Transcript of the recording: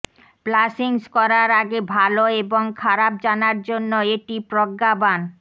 প্লাসিংস করার আগে ভাল এবং খারাপ জানার জন্য এটি প্রজ্ঞাবান